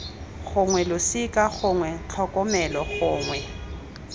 gongwe losika gongwe tlhokomelo gongwe